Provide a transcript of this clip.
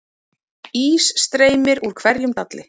Ís streymir úr hverjum dalli